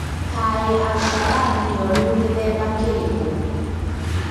Kaĩ al-shabab nĩoru gĩthemba kĩrĩkũ?